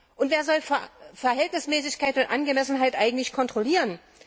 Und wer soll Verhältnismäßigkeit und Angemessenheit eigentlich kontrollieren?